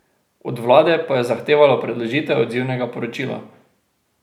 Od vlade pa je zahtevalo predložitev odzivnega poročila.